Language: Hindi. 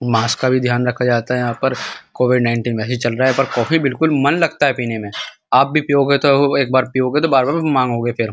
मास्क का भी ध्यान रखा जाता है यहाँ पर। कोविड नाइनटीन वैसे चल रहा है पर कॉफ़ी बिल्कुल मन लगता है पीने में आप भी पीओगे तो एक बार पीओगे तो बार-बार मांगोगे फिर।